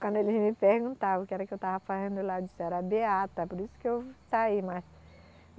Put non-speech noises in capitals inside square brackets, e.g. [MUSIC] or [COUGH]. Quando eles me perguntavam o que era que eu estava fazendo lá, eu disse era beata, por isso que eu saí. [UNINTELLIGIBLE]